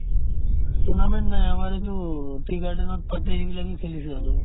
tournament নাই আমাৰ এইটো tea garden ত পাতে এইবিলাকে খেলিছে আৰু